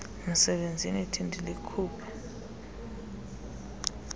msebenzini yithi ndilikhuphe